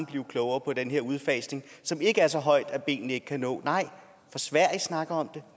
blive klogere på den her udfasning som ikke er så højt sat at benene ikke kan nå nej for sverige snakker om det